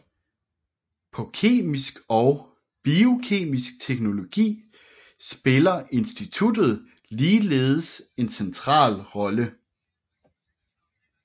På Kemisk og Biokemisk Teknologi spiller instituttet ligeledes en central rolle